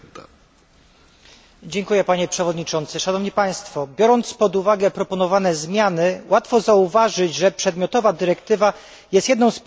Biorąc pod uwagę proponowane zmiany, łatwo zauważyć, że przedmiotowa dyrektywa jest jedną z pierwszych inicjatyw zmierzających do osiągnięcia tych ważnych celów.